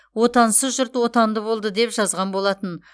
отансыз жұрт отанды болды деп жазған болатын